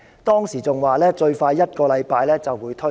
當時，他更說最快一星期便會推出。